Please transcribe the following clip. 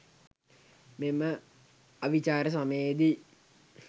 මෙම අවිචාර සමයේ දී